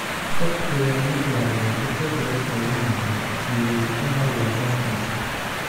Qof ayaa maqlayaa isagoo qaylinaya "Guuleystaha waa halkan."